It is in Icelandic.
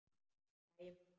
Hlæjum bara.